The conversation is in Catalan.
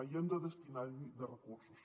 i hem de destinar hi recursos